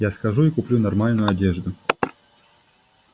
я схожу и куплю нормальную одежду